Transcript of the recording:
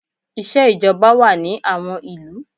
Iṣẹ́ ìjọba wà ní àwọn ìlú.